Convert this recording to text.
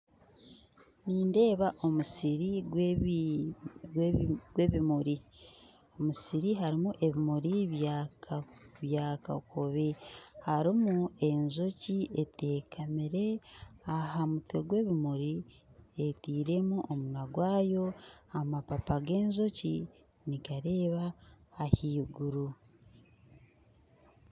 Nindeeba omusiri gwebi gwebimuri omusiri harumu ebimuri bya kakobe harumu enjoki etekamire ahamutwe gw'ebimuri eteiremu omunwa gwayo amapapa g'enjoki nigareba ahaiguru .